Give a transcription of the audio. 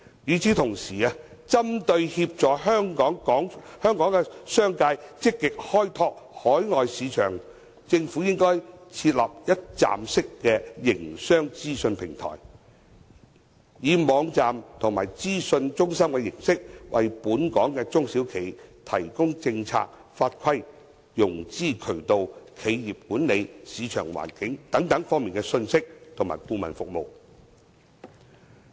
與此同時，針對協助港商積極開拓海外市場，政府應該設立一站式營商資訊平台，以網站及資訊中心的形式，為本港中小企提供政策法規、融資渠道、企業管理、市場環境等方面的資訊及顧問服務。